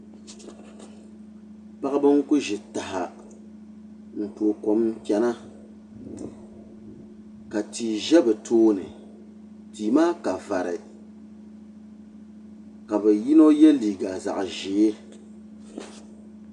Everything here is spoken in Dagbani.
Paɣaba n ku ʒi taha n tooi kom n chɛna ka tia ʒɛ bi tooni tii maa ka vari ka bi yino yɛ liiga zaɣ ʒiɛ